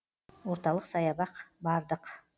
орталық саябақ бардық